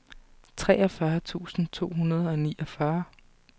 treogfyrre tusind to hundrede og niogfyrre